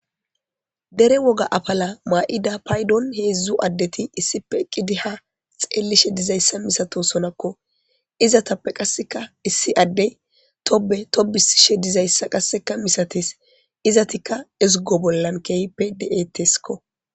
Dere woga afala maa'ida paydon heedzdzu addeti issipe eqqidi ha xeellishe dizayssa misato sonakko izatappe qasseka issi addey tobe tobisishe dizayssa qasseka misates izatika ezgo bollan keehippe deeetteskko